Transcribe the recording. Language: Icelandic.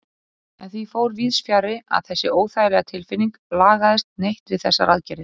En því fór víðsfjarri að þessi óþægilega tilfinning lagaðist neitt við þessar aðgerðir.